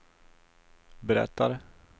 berättar